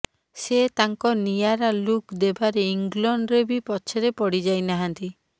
ସେ ତାଙ୍କ ନିଆରା ଲୁକ୍ ଦେବାରେ ଇଂଲଣ୍ଡରେ ବି ପଛରେ ପଡିଯାଇନାହାନ୍ତି